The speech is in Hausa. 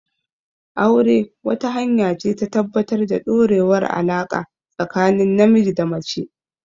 Aure, wata hanya ce ta tabbatar da ɗorewar alaƙa tsakanin namiji da mace.